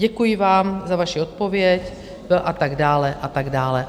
Děkuji vám za vaši odpověď a tak dále a tak dále.